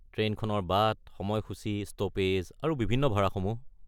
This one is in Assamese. ট্ৰেইনখনৰ বাট, সময়সূচি, ষ্ট’পেজ আৰু বিভিন্ন ভাড়াসমূহ।